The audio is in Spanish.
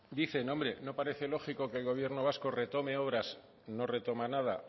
dicen hombre no parece lógico que el gobierno vasco retome obras no retoma nada